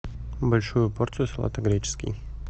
большую порцию салата греческий